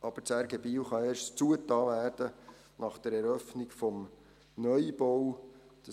Aber das RG Biel kann erst nach der Eröffnung des Neubaus geschlossen werden.